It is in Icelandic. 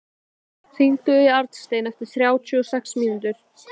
Edil, hringdu í Arnstein eftir þrjátíu og sex mínútur.